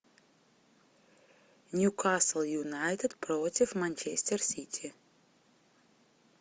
нью касл юнайтед против манчестер сити